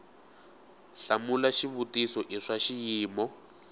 hlamula xivutiso i swa xiyimo